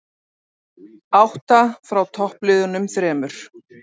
Átta frá toppliðunum þremur